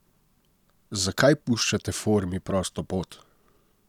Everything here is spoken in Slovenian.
Zakaj puščate formi prosto pot?